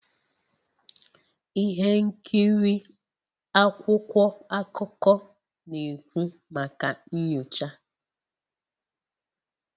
Ihe nkiri akwụkwọ akụkọ na-ekwu maka nyocha